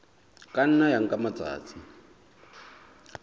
ka nna ya nka matsatsi